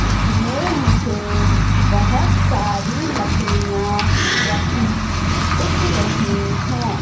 इसमें मुझे बहोत सारी लकड़ियां रखी दिख रहीं हैं।